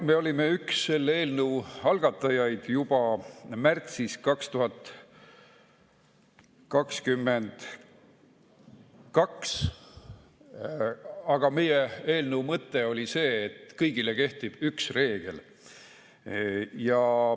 Me olime üks selle eelnõu algatajaid juba märtsis 2022, aga meie eelnõu mõte oli see, et kõigile kehtiks üks reegel.